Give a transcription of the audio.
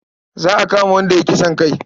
Za a kama wanda ya yi kisan kai.